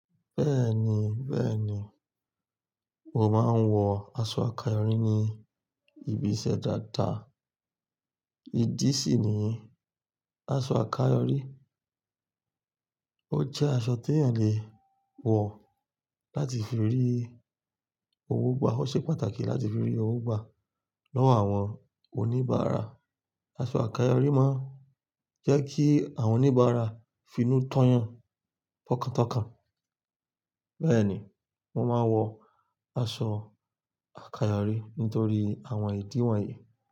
Bẹ́ẹ̀ni bẹ́ẹ̀ni, mo máa ń wọ aṣọ àkáyọrí ní ibi ìṣẹ́ dáadáa. Ìdí sì ni aṣọ àkáyọrí ó jẹ́ aṣọ tí èèyàn lè wọ̀ láti fi rí owó gbà. Ó ṣe pàtàkì láti fi rí owó gbà lọ́wọ́ àwọn oníbàárà. Aṣọ àkáyọrí máa ń jẹ́ kí àwọn oníbàárà finú tọ́yan tọkàn tán. Bẹ́ẹ̀ni, mo máa wọ aṣọ àkáyọrí nítorí àwọn ìdí wọ̀nyí.